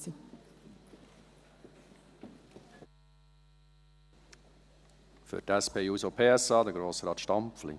Für die SP-JUSO-PSA-Fraktion: Grossrat Stampfli.